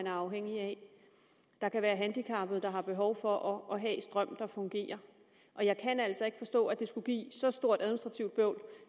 er afhængige af der kan være handicappede der har behov for at have strøm der fungerer jeg kan altså ikke forstå at det skulle give så stort et administrativt bøvl